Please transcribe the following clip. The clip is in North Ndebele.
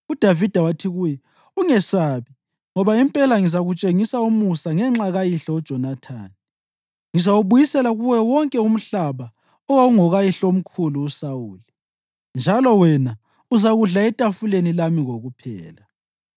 UDavida wathi kuye, “Ungesabi, ngoba impela ngizakutshengisa umusa ngenxa kayihlo uJonathani. Ngizawubuyisela kuwe wonke umhlaba owawungokayihlomkhulu uSawuli, njalo wena uzakudla etafuleni lami kokuphela.”